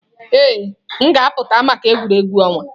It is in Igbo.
Ee, m ga-apụta maka egwuregwu ọnwa.